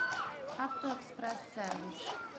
авто экспресс сервис